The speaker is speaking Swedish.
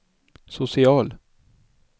social